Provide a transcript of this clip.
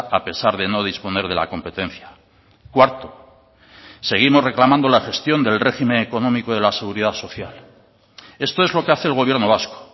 a pesar de no disponer de la competencia cuarto seguimos reclamando la gestión del régimen económico de la seguridad social esto es lo que hace el gobierno vasco